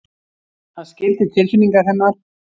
Hann skildi tilfinningar hennar.